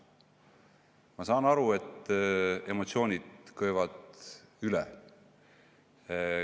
Ma saan aru, et emotsioonid keevad üle.